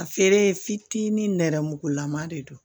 A feere fitinin nɛrɛmugulama de don